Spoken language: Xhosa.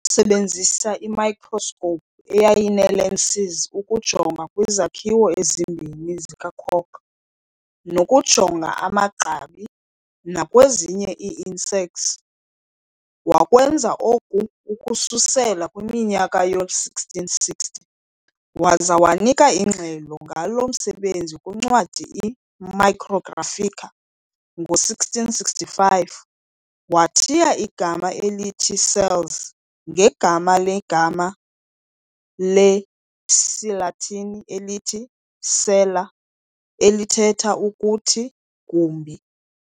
Wasebenzisa i-microscope eyayinee-lenses ukujonga kwizakhiwo ezimbini zikacork, nokujonga amagqabi nakwezinye iiinsects. Wakwenza oku ukususela kwiminyaka yoo-1660, waza wanika ingxelo ngalo msebenzi kwincwadi i"-Micrographica" ngo-1665. Wathiya igama elithi cells ngegama legama le-siLatini elithi-"cella", elithetha ukuthi 'gumbi'.